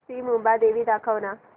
श्री मुंबादेवी दाखव ना